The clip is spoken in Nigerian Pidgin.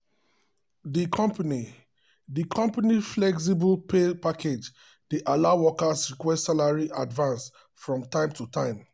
the company the company flexible pay package dey allow workers request salary advance from time to time.